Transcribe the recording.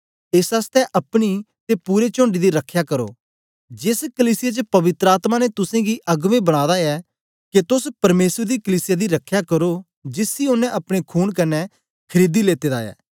एस आसतै अपनी ते पूरे चोण्ड दी रखया करो जेस कलीसिया च पवित्र आत्मा ने तुसेंगी अगबें बनादा ऐ के तोस परमेसर दी कलीसिया दी रखया करो जिसी ओनें अपने खून कन्ने खरीदी लेते दा ऐ